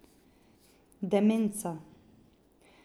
Demenca.